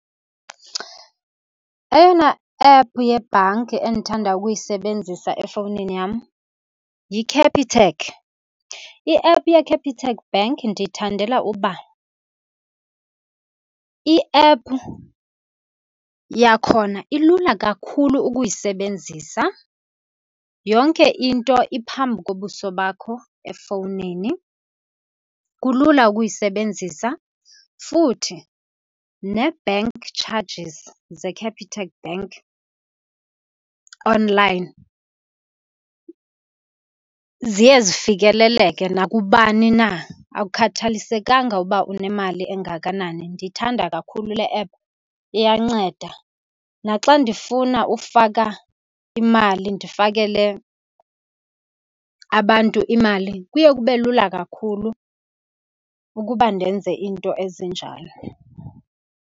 Eyona app yebhanki endithanda ukuyisebenzisa efowunini yam yiCapitec. I-app yeCapitec Bank ndiyithandela uba i-app yakhona ilula kakhulu ukuyisebenzisa. Yonke into iphambi kobuso bakho efowunini, kulula ukuyisebenzisa. Futhi nee-bank charges zeCapitec bank online ziye zifikeleleke nakubani na, akukhathalisekanga uba unemali engakanani. Ndiyithanda kakhulu le app, iyanceda. Naxa ndifuna ufaka imali, ndifakele abantu imali, kuye kube lula kakhulu ukuba ndenze iinto ezinjalo.